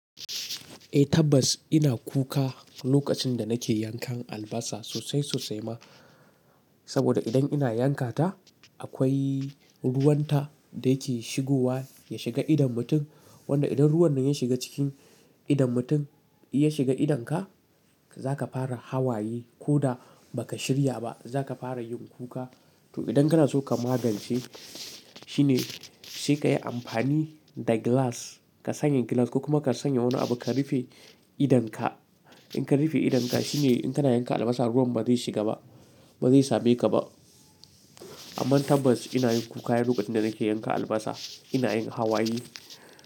Eh tabbas ina kuka lokacin da nake yankan albasa sosai sosai ma. Saboda idan ina yanka ta akwai ruwan ta da yake shigowa ya shiga idon mutum. Wanda idan ruwan nan ya shiga cikin idon mutum, ya shiga idonka za ka fara hawaye ko da ba ka shirya ba za ka fara yin kuka. To idan kana so ka magance shine sai ka yi amfani da glass. Ka sanya glass kuma ka sanya wani abu ka rufe idonka. In ka rufe idonka shine in kana yanka albasa ruwan ba zai shiga ba, ba zai same ka ba. Amma tabbas ina yin kuka lokacin da nake yanka albasa ina yin hawaye.